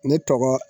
Ne tɔgɔ